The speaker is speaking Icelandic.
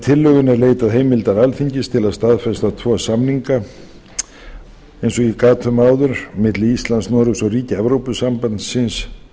tillögunni er leitað heimildar alþingis til að staðfesta tvo samninga eins og ég gat um áður milli íslands noregs og ríkja evrópusambandsins